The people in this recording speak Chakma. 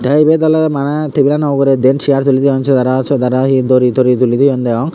tey ibet oley maneh tebilanw ugrey diyen cheyaar tulitoyon syot aro syot aro hi dori tori tolitoyon deyong.